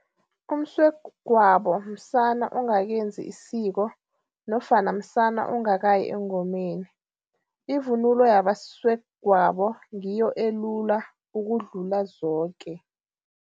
Umswegwabo msana ongakenzi isiko nofana msana ongakayi engomeni. ivunulo yabaswegwabo ngiyo elula ukudlula zoke.